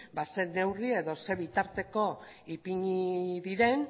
zein neurri edo zein bitarteko ipini diren